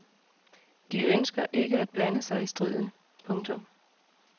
De ønsker ikke at blande sig i striden. punktum